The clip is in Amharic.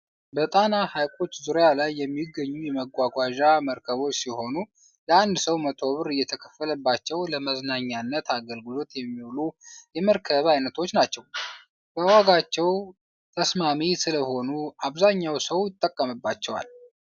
በጣና ሐይቆች ዙሪያ ላይ የሚገኙ የመጓዣ መርከቦች ሲሆኑ ለአንድ ሰው መቶ ብር እየተከፈለባቸው ለመዝናኛነት አገልግሎት የሚዉሉ የመርከብ አይነቶች ናቸው ። በዋጋቸው ተስማሚ ስለሆኑ አብዛኛው ሰው ይጠቀምባቸዋል።